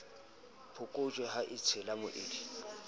phokojwe ha e tshela moedi